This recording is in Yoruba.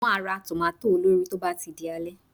Mo máa ra tòmátò olórìí tó bá ti di alẹ́